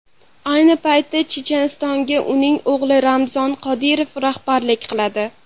Ayni paytda Chechenistonga uning o‘g‘li Ramzan Qodirov rahbarlik qiladi.